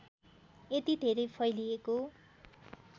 यति धेरै फैलिएको